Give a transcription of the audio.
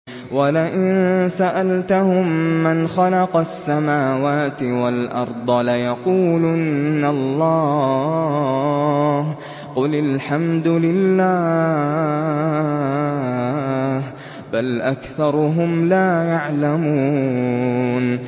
وَلَئِن سَأَلْتَهُم مَّنْ خَلَقَ السَّمَاوَاتِ وَالْأَرْضَ لَيَقُولُنَّ اللَّهُ ۚ قُلِ الْحَمْدُ لِلَّهِ ۚ بَلْ أَكْثَرُهُمْ لَا يَعْلَمُونَ